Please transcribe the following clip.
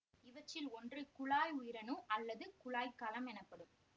இவற்றில் ஒன்று குழாய் உயிரணு அல்லது குழாய்க் கலம் எனப்படும்